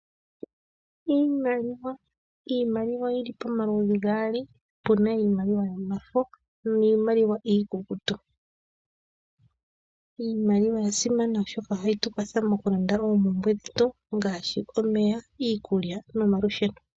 Iimaliwa, iimaliwa oyili pomaludhi gaali puna iimaliwa yomafo niimaliwa iikukutu. Iimaliwa oya simana oshoka ohayi tukwatha okulanda oompumbwe dhetu ngaashi, omeya, iikulya nomaludheno.